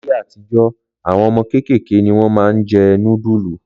Láyé àtijọ́, àwọn ọmọ kéékèèké ni wọ́n máa ń jẹ nudulu